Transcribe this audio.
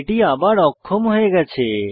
এটি আবার অক্ষম হয়ে গেছে